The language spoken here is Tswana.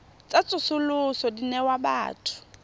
tsa tsosoloso di newa batho